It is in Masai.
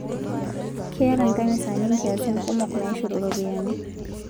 Keeta nkanisani nkiasin kumok naishoru ropiyani